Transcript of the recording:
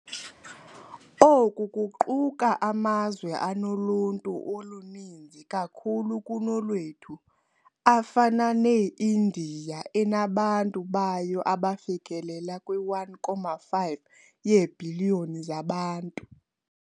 Oku kuquka amazwe anoluntu oluninzi kakhulu kunolwethu, afana ne-Indiya enabantu bayo abafikelela kwi-1.5 yeebhiliyoni zabantu.